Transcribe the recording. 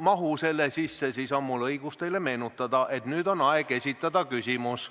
mahu selle sisse, siis on mul õigus teile meenutada, et nüüd on aeg esitada küsimus.